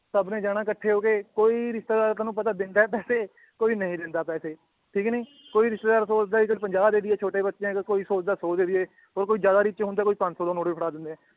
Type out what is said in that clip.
ਸਬ ਨੇ ਜਾਣਾ ਕੱਠੇ ਹੋ ਕੇ ਕੋਈ ਰਿਸ਼ਤੇਦਾਰ ਤੁਹਾਨੂੰ ਪਤਾ ਦਿੰਦਾ ਏ ਪੈਸੇ ਕੋਈ ਨਈ ਦਿੰਦਾ ਪੈਸੇ ਠੀਕ ਨੀ ਕੋਈ ਰਿਸ਼ਤੇਦਾਰ ਸੋਚਦਾ ਏ ਚੱਲ ਪੰਜਾਹ ਦੇ ਦੀਏ ਛੋਟੇ ਬੱਚੇ ਏ ਚੱਲ ਕੋਈ ਸੋਚਦਾ ਏ ਸੌ ਦੇ ਦੀਏ ਹੋਰ ਕੋਈ ਜ਼ਿਆਦਾ rich ਹੁੰਦਾ ਏ ਕੋਈ ਪੰਜ ਸੌ ਦਾ ਨ ਵੀ ਫੜਾ ਦਿੰਦਾ ਏ